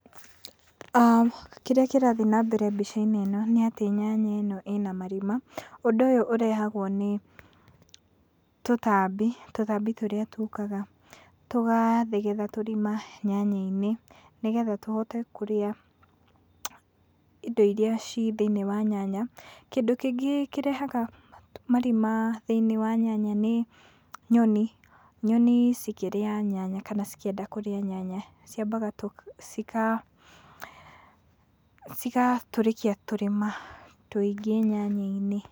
Kĩrĩ kĩrathiĩ na mbere mbica-inĩ ĩno nĩ atĩ nyanya ĩno ĩna marima. Ũndũ ũyũ ũrehagwo nĩ tũtambi, tũtambi tũrĩa tũkaga tũgathegetha tũrima nyanya-inĩ nĩ getha tũhote kũria indo iria ci thĩ-iniĩ wa nyanya. Kĩndũ kĩngĩ kĩrehaga marima thĩiniĩ wa nyanya nĩ nyoni. Nyoni cikĩrĩa nyanya kana cikĩenda kũrĩa nyanya, ciambaga tũ, ciga, cigatũrĩkia tũrima tũingĩ nyanya-inĩ.